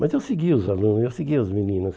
Mas eu seguia os alunos, eu seguia as meninas.